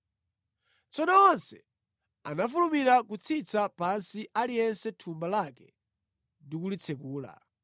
Tsono onse anafulumira kutsitsa pansi aliyense thumba lake ndi kulitsekula.